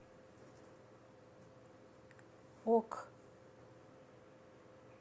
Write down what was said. ок